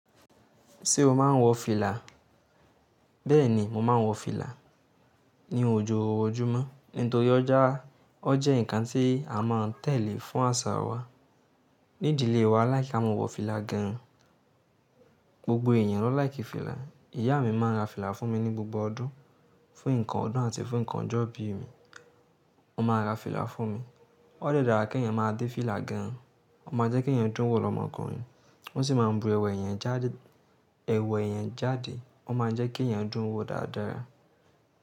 Ṣé o máa ń wọ fìlà? Bẹ́ẹ̀ ni, mo máa ń wọ fìlà ní ojoojúmọ́. Nítorí ó jẹ́ ǹkan tí a máa ń tẹ̀lé fún àṣà wa. Ní idìlé wa, a like kí a máa wọ fìlà gan. Gbogbo èèyàn ló láìkì fìlà. Ìyá mi máa ń ra fìlà fún mi ní gbogbo ọdún, fún nǹkan ọdún àti fún nǹkan ọjọ́ ìbí mi. Ó máa ra fìlà fún mi. Ó dẹ dára kí èèyàn máa dé fìlà gan. Ó máa n jẹ́ kí èèyàn dún wò lọ́mọkùnrin. Ó sì máa n bu ẹwa èèyàn jáde, ẹwa èèyàn jáde. Ó máa n jẹ́ kí èèyàn dún wò dáadáa.